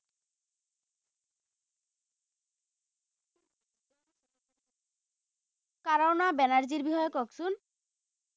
কনৰা বেনাৰ্জীৰ বিষয়ে কওকচোন